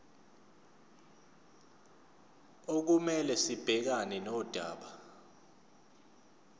okumele sibhekane nodaba